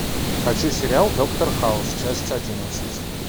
хочу сериал доктор хаус часть одиннадцать